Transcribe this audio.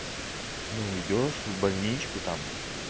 ну идёшь в больничку там